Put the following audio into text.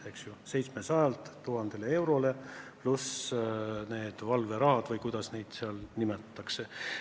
Need tõusevad 700-lt 1000 eurole, pluss valverahad või kuidas neid tasusid seal nimetatakse.